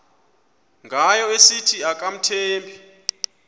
ngayo esithi akamthembi